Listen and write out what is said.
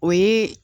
O ye